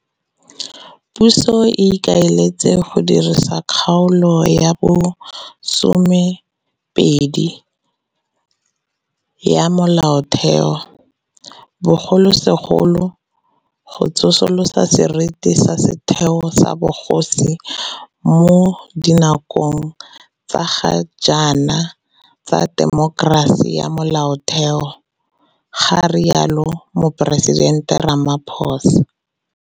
Puso e ikaeletse go dirisa Kgaolo ya bo 12 ya Molaotheo, bogolosegolo go tsosolosa seriti sa setheo sa bogosi mo dinakong tsa ga jaana tsa temokerasi ya Molaotheo, ga rialo Moporesitente Ramaphosa.